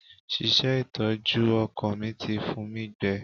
Ṣíṣe ìtọ́jú ọkọ̀ mi ti fun mi gbẹ.